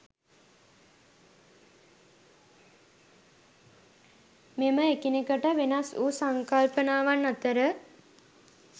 මෙම එකිනෙකට වෙනස් වූ සංකල්පනාවන් අතර